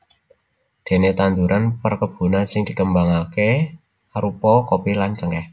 Déné tanduran perkebunan sing dikembangaké arupa kopi lan cengkèh